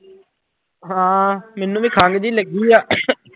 ਹਾਂ ਮੈਨੂੰ ਵੀ ਖੰਘ ਜਿਹੀ ਲੱਗੀ ਆ